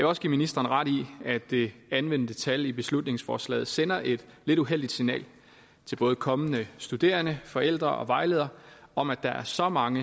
også give ministeren ret i at det anvendte tal i beslutningsforslaget sender et lidt uheldigt signal til både kommende studerende forældre og vejledere om at der er så mange